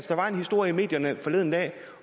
der var en historie i medierne forleden dag